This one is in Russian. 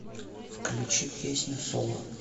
включи песню соло